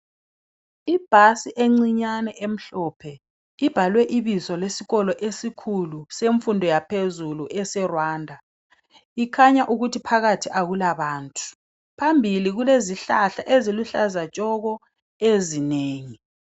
Ibhasi encinyane emhlophe libhalwe ibizo lesikolo esikhulu semfundo yaphezulu eseRwanda ikhanya ukuthi phakathi akulabantu phambili kulezihlahla eziluhlaza tshoko ezinengi.